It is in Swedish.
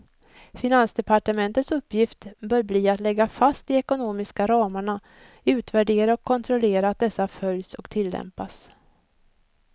Finansdepartementets uppgift bör bli att lägga fast de ekonomiska ramarna, utvärdera och kontrollera att dessa följs och tillämpas.